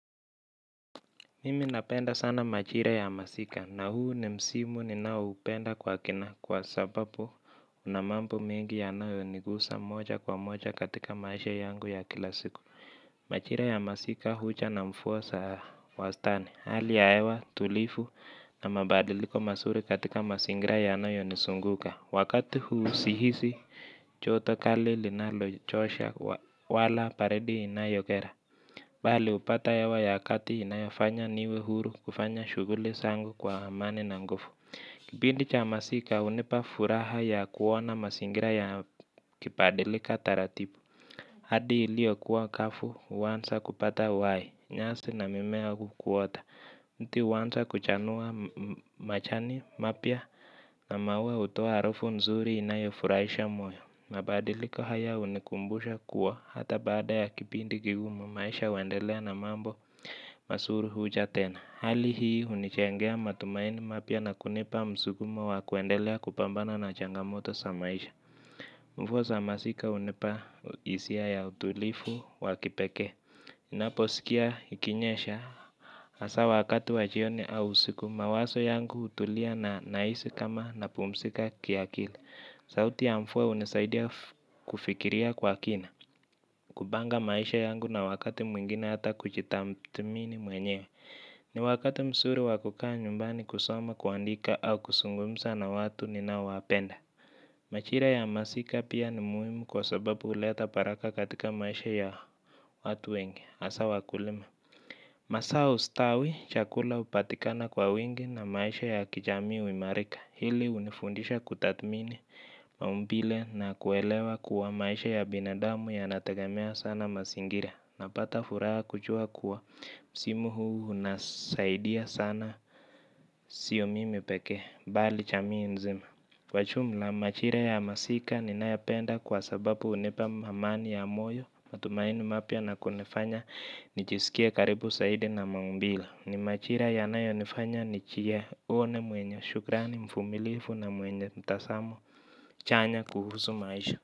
Mimi napenda sana majira ya masika na huu ni msimu ninao upenda kwa kina kwa sababu unamambo mengi yanao nigusa moja kwa moja katika maisha yangu ya kila siku. Majira ya masika huja na mvua za wastani. Hali ya hewa tulivu na mabadiliko mazuri katika mazingira yanayo nizunguka. Wakati huu sihisi joto kali linalo chosha wala baridi inayokera. Bali upate hewa ya kati inayofanya niwehuru kufanya shughuli zangu kwa amani na nguvu. Kipindi cha masika hunipa furaha ya kuona mazingira yakibadilika taratibu. Hadi ilio kuwa kafu, huanza kupata uhai, nyasi na mimea hukuota. Mti huanza kuchanua majani, mapya, na maua hutoa harufu nzuri inayofurahisha moyo. Mabadiliko haya hunikumbusha kuwa hata baada ya kipindi kigumu maisha huendelea na mambo mazuri huja tena. Hali hii hunijengea matumaini mapya na kunipa msukumo wa kuendelea kupambana na changamoto za maisha. Mvua za masika hunipa hisia ya utulivu wa kipekee. Ninaposikia ikinyesha hasa wakati wa jioni au usiku mawazo yangu hutulia na nahisi kama napumzika kiakili. Sauti ya mvua hunisaidia kufikiria kwa kina, kupanga maisha yangu na wakati mwingine ata kujitathmini mwenyewe. Ni wakati mzuri wa kukaa nyumbani kusoma kuandika au kuzungumza na watu ninao wapenda. Majira ya masika pia ni muhimu kwa sababu huleta baraka katika maisha ya watu wengi hasa wakulima. Mazao ustawi chakula hupatikana kwa wengi na maisha ya kijami huimarika. Hili hunifundisha kutathmini maumbile na kuelewa kuwa maisha ya binadamu yanategemea sana mazingira. Napata furaha kujua kuwa msimu huu unasaidia sana siyo mimi pekee bali jamii mzima. Kwa jumla majira ya masika ninayopenda kwa sababu hunipa amani ya moyo. Matumaini mapya na kunifanya nijisikie karibu zaidi na maumbile ni majira yanayo nifanya nijione mwenye shukrani mvumilivu na mwenye mtazamo chanya kuhusu maisha.